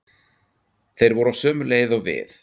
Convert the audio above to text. Þeir voru á sömu leið og við.